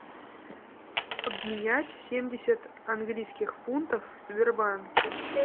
обменять семьдесят английских фунтов в сбербанке